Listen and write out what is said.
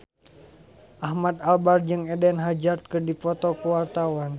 Ahmad Albar jeung Eden Hazard keur dipoto ku wartawan